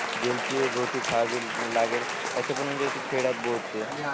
जेलची रोटी खावावी लागेल अस पण म्हणजे अस खेळ्यात बोलते